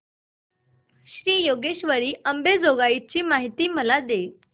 श्री योगेश्वरी अंबेजोगाई ची मला माहिती दे